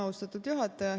Austatud juhataja!